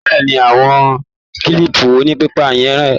Bẹ́ẹ̀ni. Àwọn kílìpù onípépà yẹn rèé.